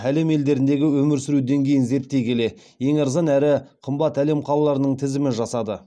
әлем елдеріндегі өмір сүру деңгейін зерттей келе ең арзан әрі қымбат әлем қалаларының тізімін жасады